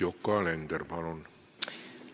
Yoko Alender, palun!